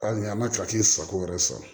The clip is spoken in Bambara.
Hali n'i y'an ka sago wɛrɛ sɔrɔ